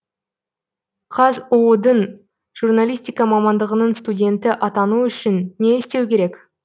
қазұу дың журналистика мамандығының студенті атану үшін не істеу керек